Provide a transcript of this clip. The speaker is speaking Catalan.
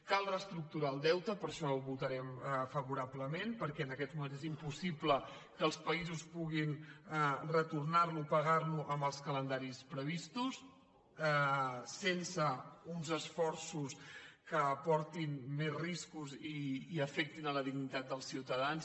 cal reestructurar el deute per això ho votarem favorablement perquè en aquests moments és impossible que els països puguin retornar lo pagar lo en els calendaris previstos sense uns esforços que portin més riscos i afectin la dignitat dels ciutadans